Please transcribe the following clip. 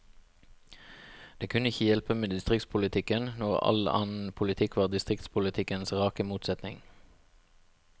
Det kunne ikke hjelpe med distriktspolitikken, når all annen politikk var distriktspolitikkens rake motsetning.